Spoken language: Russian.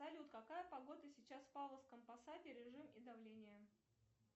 салют какая погода сейчас в павловском посаде режим и давление